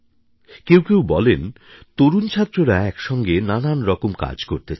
কেউ কেউ বলেন তরুণ ছাত্ররা একসঙ্গে নানারকম কাজ করতে চায়